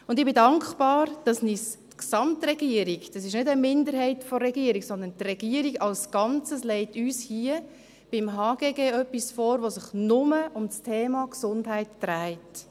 Ich bin dankbar, dass uns die Gesamtregierung – es ist keine Minderheit der Regierung, sondern die Regierung als Ganzes – zum HGG etwas vorlegt, das sich nur um das Thema Gesundheit dreht.